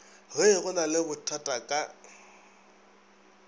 ge go na lebothata ka